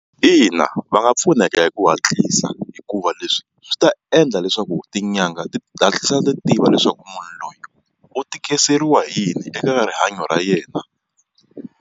Ina va nga pfuneka hi ku hatlisa hikuva leswi swi ta endla leswaku tin'anga ti hatlisa ti tiva leswaku munhu loyi u tikiseriwa hi yini eka rihanyo ra yena.